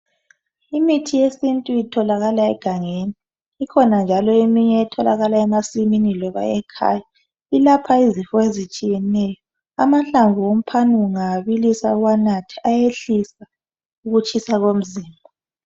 Imithi yesiNtu itholakala egangeni ikhona njalo eminye etholakala emasimini loba ekhaya ilapha izifo ezitshiyeneyo amahlamvu omphane ungawabilisa uwanathe ayehlise ukutshisa komzimba.